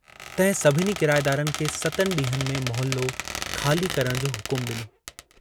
तहिं सभिनी किराएदारनि खे सतनि डींहंनि में मोहल्लो खाली करण जो हुकमु डिनो।